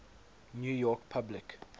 new york public